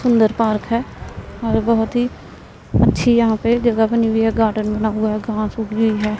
सुंदर पार्क है और बहोत ही अच्छी यहां पे जगह बनी हुई है गार्डन बना हुआ है। घास उगी हुई है।